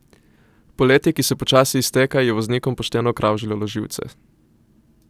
Poletje, ki se počasi izteka, je voznikom pošteno kravžljalo živce.